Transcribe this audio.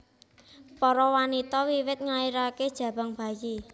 Para wanita wiwit nglairaké jabang bayi